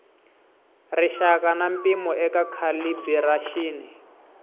rixaka na mpimo eka calibiraxini